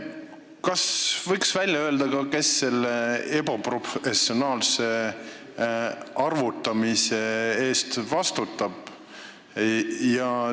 Kas võiks välja öelda, kes selle ebaprofessionaalse arvutamise eest vastutab?